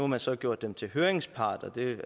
man så gjort dem til høringsparter og det